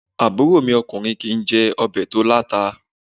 Àbúrò mi okùnrin kìí jé obè tó láta